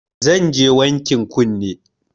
Zanje wankin kunne